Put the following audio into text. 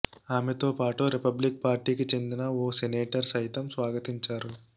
ఆమెతో పాటు రిపబ్లిక్ పార్టీకి చెందిన ఓ సెనేటర్ సైతం స్వాగతించారు